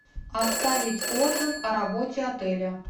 оставить отзыв о работе отеля